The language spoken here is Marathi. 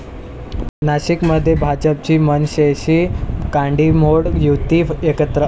नाशिकमध्ये भाजपची मनसेशी काडीमोड, युती एकत्र